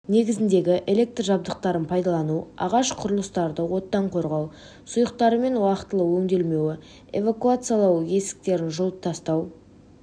негізіндегі электр жабдықтарын пайдалану ағаш құрылыстарды оттан қорғау сұйықтарымен уақытылы өңделмеуі эвакуациялау есіктерін жауып тастау